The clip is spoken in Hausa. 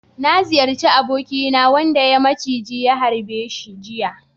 Na ziyarci abokina wanda ya maciji ya harba jiya.